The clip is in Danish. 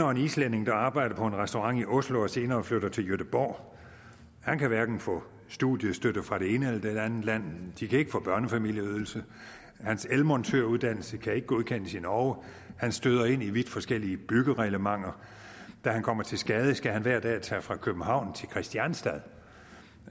og en islænding der arbejder på en restaurant i oslo og senere flytter til gøteborg han kan hverken få studiestøtte fra det ene eller det andet land de kan ikke få børnefamilieydelse hans elmontøruddannelse kan ikke godkendes i norge han støder ind i vidt forskellige byggereglementer da han kommer til skade skal han hver dag tage fra københavn til krianstianstad